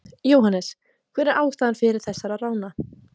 Jóhannes: Hver er ástæða þessara rána?